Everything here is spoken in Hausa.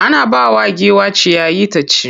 Ana bawa giwa ciyayi ta ci.